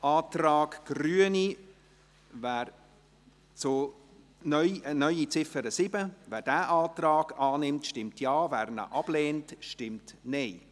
Zum Antrag Grüne auf eine neue Ziffer 7: Wer diesen Antrag annimmt, stimmt Ja, wer ihn ablehnt, stimmt Nein.